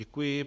Děkuji.